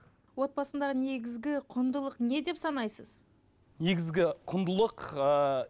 отбасындағы негізгі құндылық не деп санайсыз негізгі құндылық ыыы